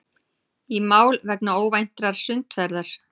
Í mál vegna óvæntrar sundferðar